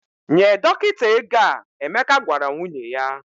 "Nye dọkịta ego a," Emeka gwara nwunye ya.